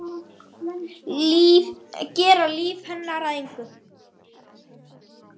Gera líf hennar að engu.